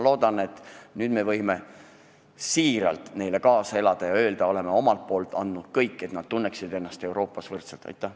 Loodan, et nüüd me võime siiralt neile kaasa elada ja öelda, et meie oleme teinud kõik selleks, et nad tunneksid ennast Euroopas võrdsetena.